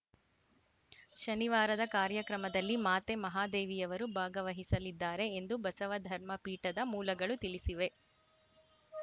ಶನಿವಾರದ ಕಾರ್ಯಕ್ರಮದಲ್ಲಿ ಮಾತೆ ಮಹಾದೇವಿಯವರು ಭಾಗವಹಿಸಲಿದ್ದಾರೆ ಎಂದು ಬಸವ ಧರ್ಮ ಪೀಠದ ಮೂಲಗಳು ತಿಳಿಸಿವೆ